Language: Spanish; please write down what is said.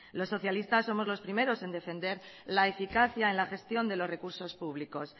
los socialistas somos los primeros en defender la eficacia en la gestión de los recursos públicos